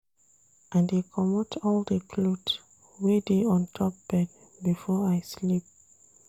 I dey comot all di cloth wey dey on top bed before I sleep.